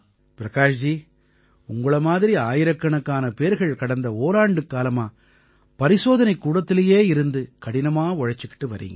பிரகாஷ் ஜி உங்களை மாதிரி ஆயிரக்கணக்கான பேர்கள் கடந்த ஓராண்டுக்காலமா பரிசோதனைக்கூடத்திலேயே இருந்து கடினமா உழைச்சுக்கிட்டு வர்றீங்க